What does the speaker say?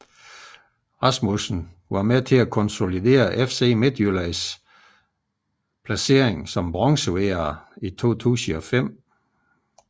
Rasmussen var med til at konsolidere FC Midtjyllands placering som bronzevinder i 2005